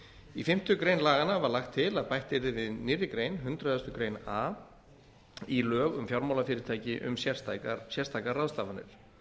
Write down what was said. í fimmtu grein laganna var lagt til að bætt yrði við nýrri grein hundrað greinar a í lög um fjármálafyrirtæki um sérstakar ráðstafanir